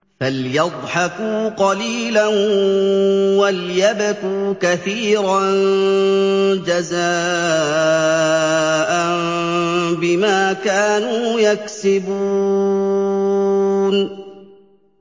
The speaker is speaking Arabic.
فَلْيَضْحَكُوا قَلِيلًا وَلْيَبْكُوا كَثِيرًا جَزَاءً بِمَا كَانُوا يَكْسِبُونَ